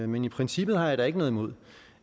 men i princippet har jeg da ikke noget imod